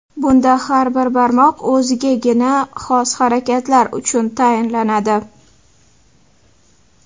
Bunda har bir barmoq o‘zigagina xos harakatlar uchun tayinlanadi.